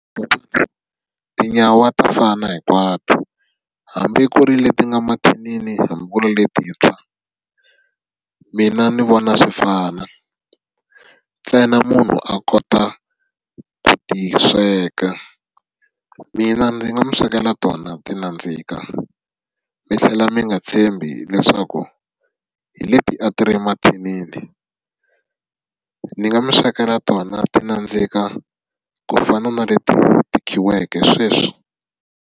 Tinyawa ta fana hinkwato. Hambi ku ri leti nga mathinini hambi ku ri letintshwa, mina ndzi vona swi fana. Ntsena munhu a kota ku ti ta sweka. Mina ndzi nga mi swekela tona ti nandzika. Mi tlhela mi nga tshembi leswaku hi leti a ti ri mathinini. Ndzi nga mi swekela tona ti nandzika ku fana na leti ti khiweke sweswi.